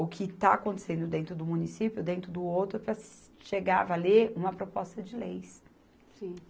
o que está acontecendo dentro do município, dentro do outro, para se, chegar a valer uma proposta de leis.